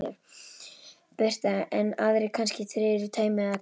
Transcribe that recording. Birta: En aðrir kannski tregari í taumi eða hvað?